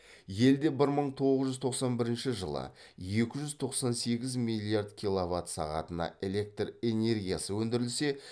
елде бір мың тоғыз жүз тоқсан бірінші жылы екі жүз тоқсан сегіз миллиард киловатт сағатына электр энергиясы өндірілсе